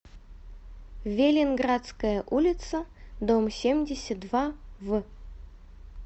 велинградская улица дом семьдесят два в